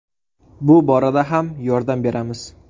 Bu borada ham yordam beramiz.